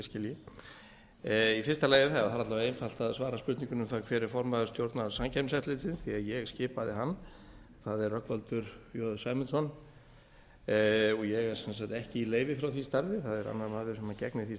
skilji í fyrsta lagi það er einfalt að svara spurningunni um það hver er formaður stjórnar samkeppniseftirlitsins því að ég skipaði hann það er rögnvaldur j sæmundsson og ég er sem sagt ekki í leyfi frá því starfi það er annar maður sem gegnir því starfi það er hins